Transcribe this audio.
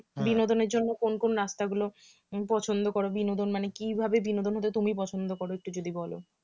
বিনোদনের জন্য কোন কোন রাস্তা গুলো পছন্দ করো বিনোদন মানে কিভাবে বিনোদন হতে তুমি পছন্দ করো একটু যদি বলো